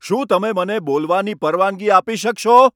શું તમે મને બોલવાની પરવાનગી આપી શકશો?